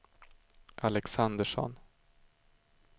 Alexandersson